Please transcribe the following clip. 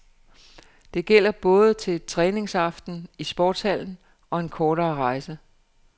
Det gælder både til træningsaftenen i sportshallen og en kortere rejse.